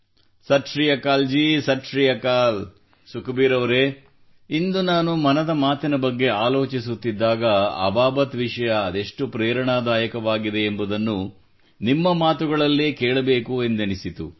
ಸತ್ ಶ್ರೀ ಅಕಾಲ್ ಜಿ ಸತ್ ಶ್ರೀ ಅಕಾಲ್ ಸುಖಬೀರ್ ಅವರೆ ಇಂದು ನಾನು ಮನದ ಮಾತಿನ ಬಗ್ಗೆ ಆಲೋಚಿಸುತ್ತಿದ್ದಾಗ ಅಬಾಬತ್ ವಿಷಯ ಅದೆಷ್ಟು ಪ್ರೇರಣಾದಾಯಕವಾಗಿದೆ ಎಂಬುದನ್ನು ನಿಮ್ಮ ಮಾತುಗಳಲ್ಲೇ ಕೇಳಬೇಕು ಎಂದೆನಿಸಿತು